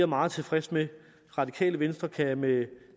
meget tilfreds med radikale venstre kan med